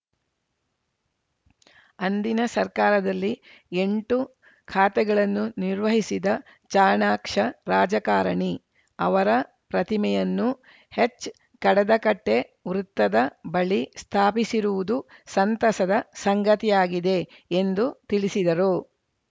ಅಂದಿನ ಸರ್ಕಾರದಲ್ಲಿ ಎಂಟು ಖಾತೆಗಳನ್ನು ನಿರ್ವಹಿಸಿದ ಚಾಣಾಕ್ಷ ರಾಜಕಾರಣಿ ಅವರ ಪ್ರತಿಮೆಯನ್ನು ಎಚ್‌ಕಡದಕಟ್ಟೆವೃತ್ತದ ಬಳಿ ಸ್ಥಾಪಿಸಿರುವುದು ಸಂತಸದ ಸಂಗತಿಯಾಗಿದೆ ಎಂದು ತಿಳಿಸಿದರು